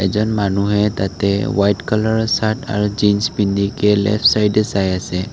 এজন মানুহে তাতে ৱাইট কালাৰৰ চাৰ্ত আৰু জিঞ্চ পিন্ধি কে লেফ্ট চাইডে চাই আছে।